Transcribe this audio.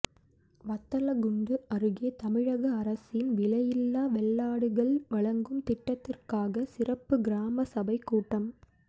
வத்தலக்குண்டு அருகே தமிழக அரசின் விலையில்லா வெள்ளாடுகள் வழங்கும் திட்டத்திற்காக சிறப்பு கிராம சபை கூட்டம்